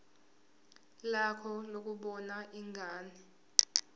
lakho lokubona ingane